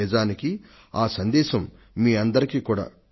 నిజానికి ఆ సందేశం మీ అందరికీ కూడా